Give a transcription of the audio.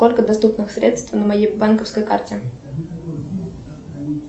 сколько доступных средств на моей банковской карте